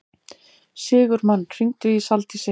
Sigurmann, hringdu í Saldísi.